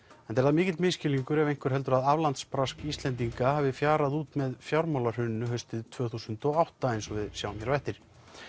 enda er það mikill misskilningur ef einhver heldur að Íslendinga hafi fjarað út með fjármálahruninu haustið tvö þúsund og átta eins og við sjáum hér á eftir